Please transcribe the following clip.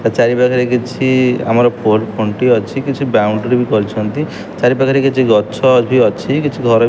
ତା ଚାରି ପାଖରେ କିଛି ଆମର ପୋଲ୍ ଖୁଣ୍ଟି ଅଛି କିଛି ବାଉଣ୍ଡ୍ରି ବି କରିଛନ୍ତି ଚାରି ପାଖରେ କିଛି ଗଛ ଭି ଅଛି କିଛି ଘର --